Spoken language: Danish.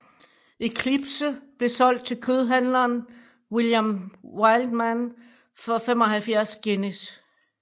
Eclipse blev solgt til kødhandleren William Wildman for 75 guineas